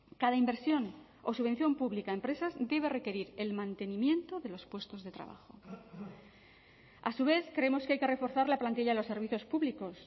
cada inversión o subvención pública a empresas debe requerir el mantenimiento de los puestos de trabajo a su vez creemos que hay que reforzar la plantilla de los servicios públicos